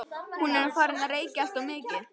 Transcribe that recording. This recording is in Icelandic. Hún er farin að reykja alltof mikið.